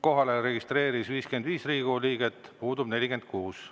Kohalolijaks registreeris end 55 Riigikogu liiget, puudub 46.